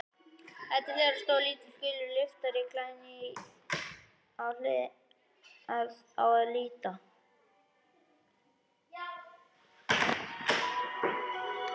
Þar til hliðar stóð lítill, gulur lyftari, glænýr á að líta.